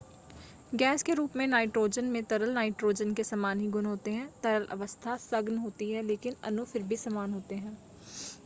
gas के रूप में नाइट्रोजन में तरल नाइट्रोजन के समान ही गुण होते हैं तरल अवस्था सघन होती है लेकिन अणु फिर भी समान होते हैं